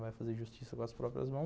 Vai fazer justiça com as próprias mãos?